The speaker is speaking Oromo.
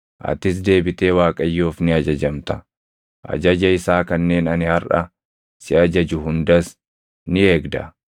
Atis deebitee Waaqayyoof ni ajajamta; ajaja isaa kanneen ani harʼa si ajaju hundas ni eegda.